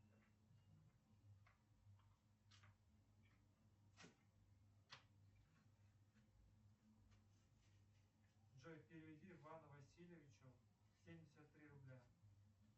джой переведи ивану васильевичу семьдесят три рубля